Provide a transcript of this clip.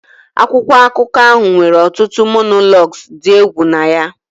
Akwụkwọ akụkọ ahụ nwere ọtụtụ monologues dị egwu na ya